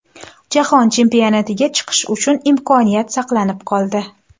Jahon Chempionatiga chiqish uchun imkoniyat saqlanib qoldi.